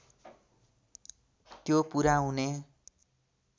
त्यो पुरा हुने